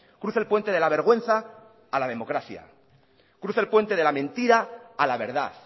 cruce el puente de la vergüenza a la democracia cruce el puente de la mentira a la verdad